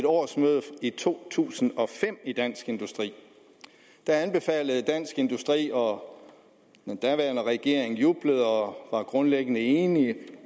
årsmødet i to tusind og fem i dansk industri da anbefalede dansk industri og den daværende regering jublede og var grundlæggende enig